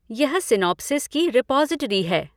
यह सीनोप्सिस की रीपॉज़टरी है।